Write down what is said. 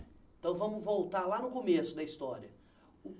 Então, vamos voltar lá no começo da história.